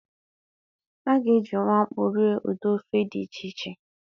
A ga-ejiwu akpụ rie ụdị ofe dị iche iche